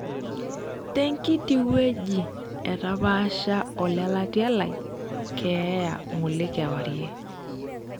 Tenkiti wueji etapaasha olelatia lai keeya ng'ole kwarie.